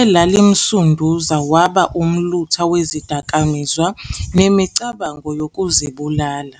elalimsunduza waba umlutha wezidakamizwa nemicabango yokuzibulala.